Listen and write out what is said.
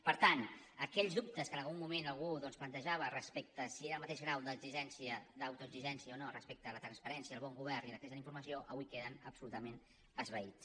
per tant aquells dubtes que en algun moment algú doncs plantejava respecte a si és el mateix grau d’exigència d’autoexigència o no respecte a la transparència el bon govern i l’accés a la informació avui queden absolutament esvaïts